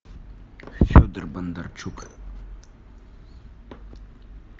федор бондарчук